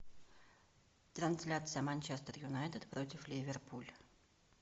трансляция манчестер юнайтед против ливерпуль